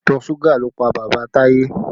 Ìtọ̀ suga ló pa bàbá Taye